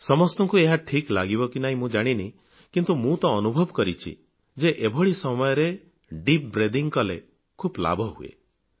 ସମସ୍ତଙ୍କୁ ଏହା ଠିକ୍ ଲାଗିବ କି ନାହିଁ ମୁଁ ଜାଣିନି କିନ୍ତୁ ମୁଁ ତ ଅନୁଭବ କରିଛି ଯେ ଏଭଳି ସମୟରେ ଏବେ ଦୀପ ବ୍ରେଥିଂ କଲେ ଖୁବ୍ ଲାଭ ହୁଏ